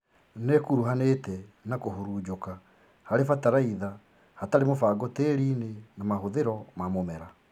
Nĩkuruhanĩte na kũhurunjĩka harĩ bataraitha hatarĩ mũbango tĩriinĩ na mahũthĩro ma mũmera